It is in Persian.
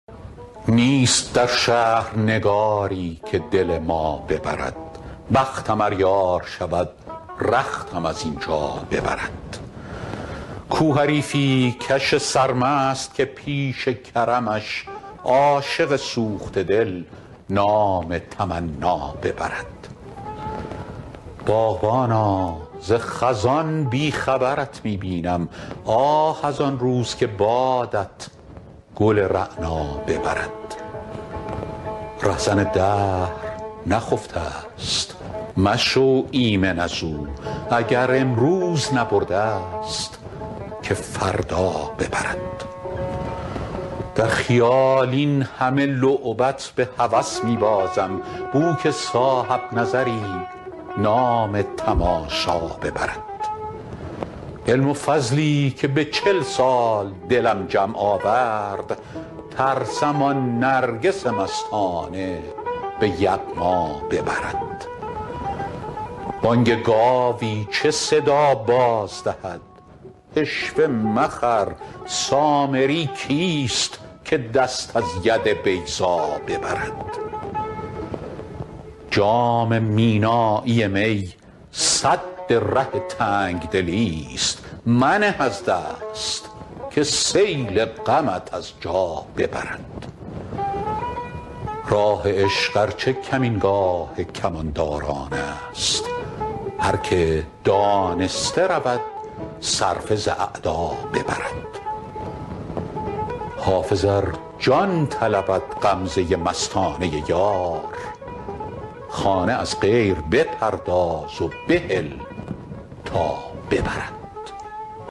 نیست در شهر نگاری که دل ما ببرد بختم ار یار شود رختم از این جا ببرد کو حریفی کش سرمست که پیش کرمش عاشق سوخته دل نام تمنا ببرد باغبانا ز خزان بی خبرت می بینم آه از آن روز که بادت گل رعنا ببرد رهزن دهر نخفته ست مشو ایمن از او اگر امروز نبرده ست که فردا ببرد در خیال این همه لعبت به هوس می بازم بو که صاحب نظری نام تماشا ببرد علم و فضلی که به چل سال دلم جمع آورد ترسم آن نرگس مستانه به یغما ببرد بانگ گاوی چه صدا باز دهد عشوه مخر سامری کیست که دست از ید بیضا ببرد جام مینایی می سد ره تنگ دلی ست منه از دست که سیل غمت از جا ببرد راه عشق ار چه کمینگاه کمانداران است هر که دانسته رود صرفه ز اعدا ببرد حافظ ار جان طلبد غمزه مستانه یار خانه از غیر بپرداز و بهل تا ببرد